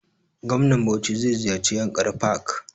Gwamnan bauchi zai ziyarce yankari park